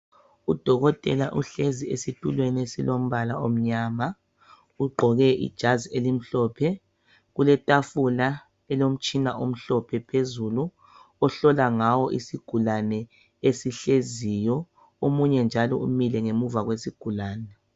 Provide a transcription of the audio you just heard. Udokotela uhlezi esitulweni esilombala omnyama, ugqoke ijazi elimhlophe kule tafula elilomtshina omhlophe, phezulu ohlola ngawo isigulane esihleziyo omunye njalo umile ngemuva kwesigulane.